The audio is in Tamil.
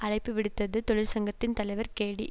அழைப்பு விடுத்தது தொழிற்சங்கத்தின் தலைவர் கேடி